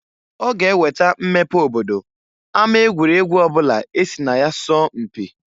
Ọ ga-eweta mmepe obodo ama egwuregwu ọbụla esi na ya sọọ mpị.